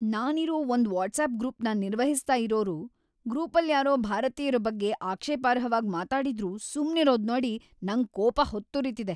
ನಾನಿರೋ ಒಂದ್ ವಾಟ್ಸಾಪ್‌ ಗ್ರೂಪ್‌ನ ನಿರ್ವಹಿಸ್ತಾ ಇರೋರು ಗ್ರೂಪಲ್ಯಾರೋ ಭಾರತೀಯ್ರ ಬಗ್ಗೆ ಆಕ್ಷೇಪಾರ್ಹವಾಗ್‌ ಮಾತಾಡಿದ್ರೂ ಸುಮ್ನಿರೋದ್ನೋಡಿ ನಂಗ್‌ ಕೋಪ ಹೊತ್ತುರಿತಿದೆ.